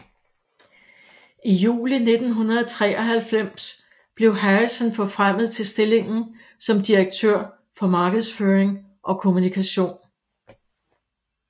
I juli 1993 blev Harrison forfremmet til stillingen som direktør for markedsføring og kommunikation